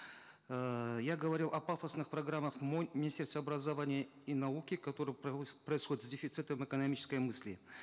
эээ я говорил о пафосных программах министерства образования и науки которые происходят с дефицитом экономической мысли